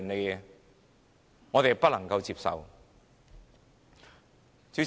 這是我們不能接受的。